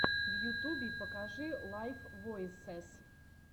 в ютубе покажи лайв войсез